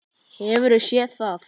Hefurðu séð það?